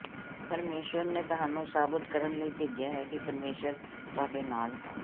ਪਰਮੇਸ਼ੁਰ ਨੇ ਤੁਹਾਨੂੰ ਸਾਬਤ ਕਰਨ ਲਈ ਭੇਜਿਆ ਹੈ ਕਿ ਪਰਮੇਸ਼ੁਰ ਤੁਹਾਡੇ ਨਾਲ ਹੈ